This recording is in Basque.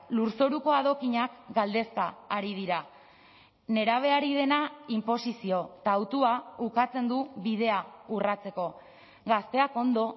lurzoruko adokinak galdezka ari dira nerabeari dena inposizio eta hautua ukatzen du bidea urratzeko gazteak ondo